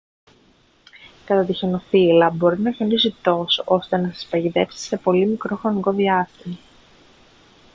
κατά τη χιονοθύελλα μπορεί να χιονίσει τόσο ώστε να σας παγιδεύσει σε πολύ μικρό χρονικό διάστημα